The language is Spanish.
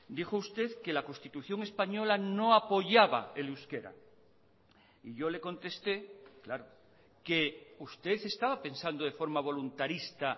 dijo usted que la constitución española no apoyaba el euskera y yo le conteste claro que usted estaba pensando de forma voluntarista